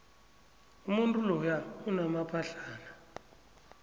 umuntu loya unamaphahlana